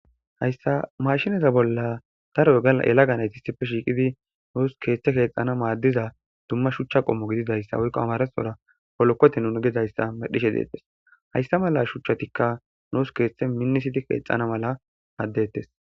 Hayssa mashinaza bolla tarogaaelaganayti isippe shiiqidi nuus keeththe keexana maaddiza dumma shuchcha qommo gididayssa woykko amaresora holokkote nunu gezayssa medhishe deettes haysta mala shuchchatikka nuus keeththe minnisiti keexxana mala addettes